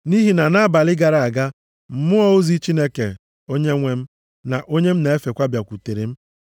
Nʼihi na nʼabalị gara aga, mmụọ ozi Chineke Onyenwe m, na onye m na-efekwa bịakwutere m,